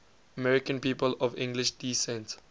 american people of english descent